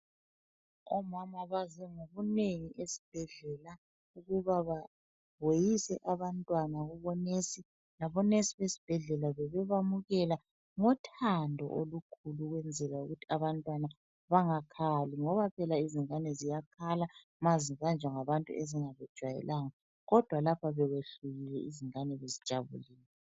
Omama baze ngobunengi esibhedlela ukuba baweyise abantwana kubo nesi labo nesi besibhedlela bebe bamukela ngothando olukhulu ukwenzela ukuthi abantwana bangakhali, ngoba phela izingane ziyakhala uma zibanjwa ngabantu ezingabajayelanga kodwa lapha bekwehlukile ngoba phela izingane bezijabulile.